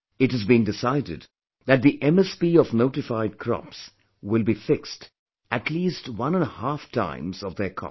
It has been decided that the MSP of notified crops will be fixed at least one and a half times of their cost